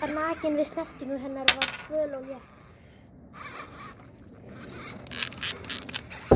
Ég var nakinn en snerting hennar var svöl og létt.